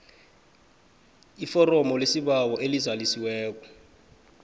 iforomo lesibawo elizalisiweko